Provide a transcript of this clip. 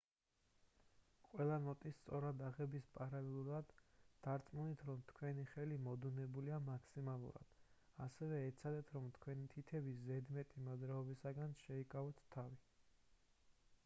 ყველა ნოტის სწორად აღების პარალელურად დარწმუნდით რომ თქვენი ხელი მოდუნებულია მაქსიმალურად ასევე ეცადეთ რომ თქვენი თითების ზედმეტი მოძრაობებისგან შეიკავოთ თავი